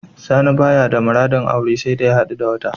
Sani baya da muradin aure saida ya hadu da wata.